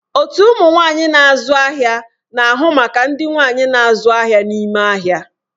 Otu ụmụ nwanyị na-azụ ahịa na-ahụ maka ndị nwanyi na-azụ ahịa n'ime ahịa.